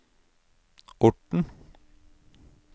Orten